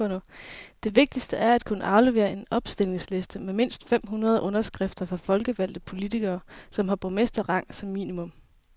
Det vigtigste er at kunne aflevere en opstillingsliste med mindst fem hundrede underskrifter fra folkevalgte politikere, som har borgmesterrang som minimum.